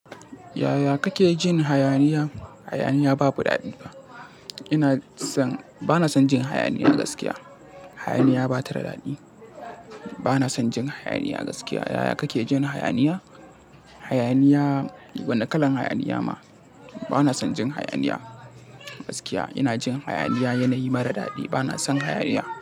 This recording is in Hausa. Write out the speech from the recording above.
Yaya kake jin hayaniya? Hayaniya babu daɗi ba. Ina son, bana son jin hayaniya gaskiya. Hayaniya ba ta da daɗi. Bana son jin hayaniya gaskiya. Yaya kake jin hayaniya? Hayaniya, wane kalan hayaniya ma? Bana son jin hayaniya gaskiya. Ina jin hayaniya yanayi mara daɗi. Bana son hayaniya.